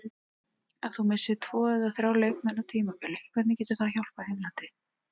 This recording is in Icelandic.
Ef þú missir tvo eða þrjá leikmenn á tímabili hvernig getur það hjálpað Englandi?